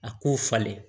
A k'u falen